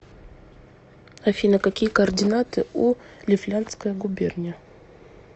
афина какие координаты у лифляндская губерния